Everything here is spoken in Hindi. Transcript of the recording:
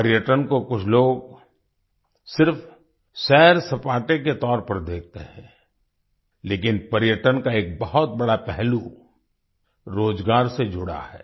पर्यटन को कुछ लोग सिर्फ सैरसपाटे के तौर पर देखते हैं लेकिन पर्यटन का एक बहुत बड़ा पहलूरोजगार से जुड़ा है